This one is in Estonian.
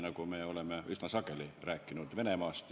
Oleme seal ju üsna sageli rääkinud Venemaast.